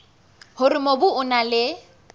hore mobu o na le